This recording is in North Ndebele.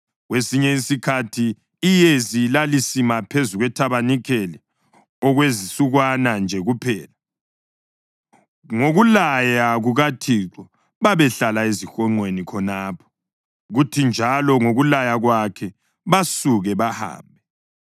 Kwesinye isikhathi iyezi lalisima phezu kwethabanikeli okwezinsukwana nje kuphela; ngokulaya kukaThixo babehlala ezihonqweni khonapho, kuthi njalo ngokulaya kwakhe basuke bahambe.